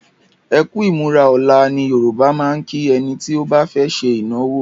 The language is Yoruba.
"Ekú ìmúra ọ̀la". Ní Yorùbá máa ń kí ẹni tí ó fẹ́ ṣe ìnáwó